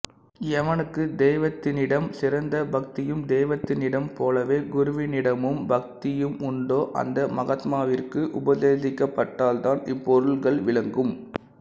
எவனுக்கு தெய்வத்தினிடம் சிறந்த பக்தியும் தெய்வத்தினிடம் போலவே குருவினிடமும் பக்தியும் உண்டோ அந்த மகாத்மாவிற்கு உபதேசிக்கப்பட்டால்தான் இப்பொருள்கள் விளங்கும்